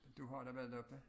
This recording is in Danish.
Du har da været oppe